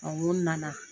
n ko nana